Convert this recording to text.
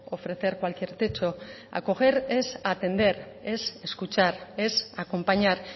ofrecer cualquier techo acoger es atender es escuchar es acompañar